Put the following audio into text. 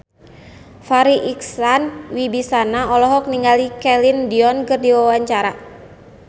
Farri Icksan Wibisana olohok ningali Celine Dion keur diwawancara